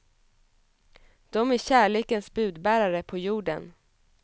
De är kärlekens budbärare på jorden.